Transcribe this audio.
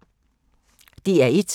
DR1